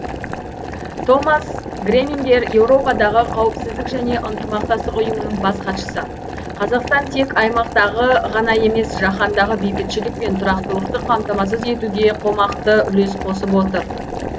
томас гремингер еуропадағы қауіпсіздік және ынтымақтастық ұйымының бас хатшысы қазақстан тек аймақтағы ғана емес жаһандағы бейбітшілік пен тұрақтылықты қамтамасыз етуге қомақты үлес қосып отыр